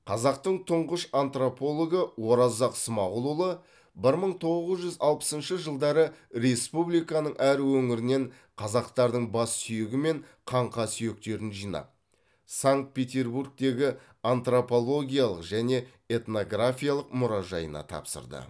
қазақтың тұңғыш антропологы оразақ смағұлұлы бір мың тоғыз жүз алпысыншы жылдары республиканың әр өңірінен қазақтардың бас сүйегі мен қаңқа сүйектерін жинап санкт петербургтегі антропологиялық және этнографиялық мұражайына тапсырды